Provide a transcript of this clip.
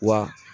Wa